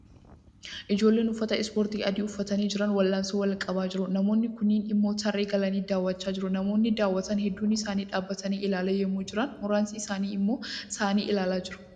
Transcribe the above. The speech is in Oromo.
Ijoolleen uffata ispoortii adii uffatanii jiran wal 'aansoi wal qabaa jiru. Namoonni kuun immoo tarree galanii daawwachaa jiru. Namoonni daawwatan hedduun isaanii dhaabatanii ilaalaa yemmuu jiran muraasni isaanii immoo taa'anii ilaalaa jiru.